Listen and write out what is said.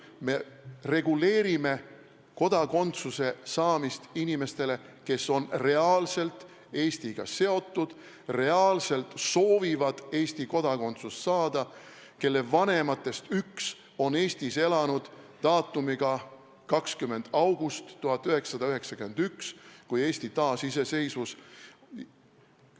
Me reguleerime kodakondsuse saamist inimeste puhul, kes on reaalselt Eestiga seotud, reaalselt soovivad Eesti kodakondsust saada, kelle vanematest üks on Eestis elanud vähemalt 20. augustist 1991, kui Eesti taasiseseisvus.